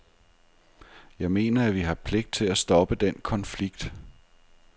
Jeg mener, at vi har pligt til at stoppe den konflikt.